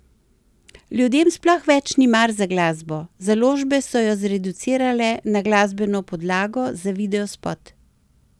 Ljudem sploh več ni mar za glasbo, založbe so jo zreducirale na glasbeno podlago za videospot.